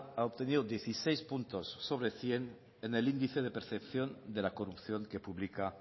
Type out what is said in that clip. ha obtenido dieciséis puntos sobre cien en el índice de percepción de la corrupción que publica